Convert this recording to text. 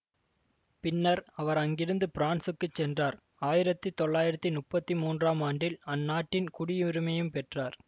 பின்னர் அவர் அங்கிருந்து பிரான்சுக்குச் சென்றார் ஆயிரத்தி தொள்ளாயிரத்தி முப்பத்தி மூன்றாம் ஆண்டில் அந் நாட்டின் குடியுரிமையும் பெற்றார்